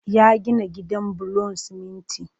Ya gina gidan bulon siminti